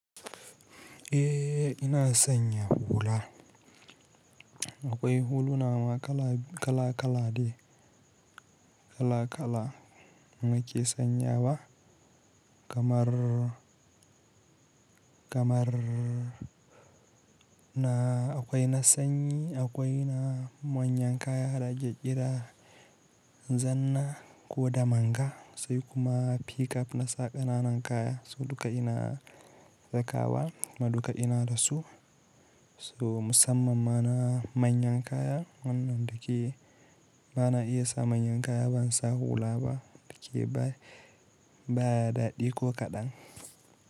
Eh ina sanya hula. Akwai huluna ma kala kala de, kala kala muke sanyawa kamar, kamar na akwai na sanyi, akwai na manyan kaya, da ake ƙira, zanna ko damanga sai kuma p-cap na sa ƙananan kaya. So duka ina saka wa, kuma duka ina dasu. So musamman ma na manyan kaya wannan da ke, bana iya sa manyan kaya ban sa hula ba, da ke ba daɗi ko kaɗan.